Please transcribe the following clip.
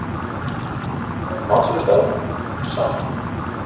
Uppáhalds matsölustaður: Saffran